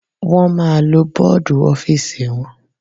Wọ́n ma lo bọ́dù ọ́fìsì wọn.